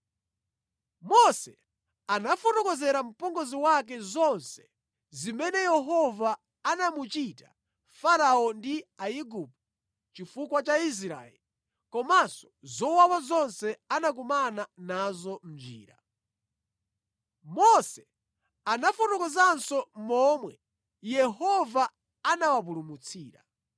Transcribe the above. Mose anafotokozera mpongozi wake zonse zimene Yehova anamuchita Farao ndi Aigupto chifukwa cha Israeli komanso zowawa zonse anakumana nazo mʼnjira. Mose anafotokozanso momwe Yehova anawapulumutsira.